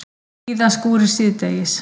Víða skúrir síðdegis